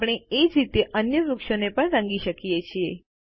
આપણે એ જ રીતે અન્ય વૃક્ષોને પણ રંગ કરી શકીએ છીએ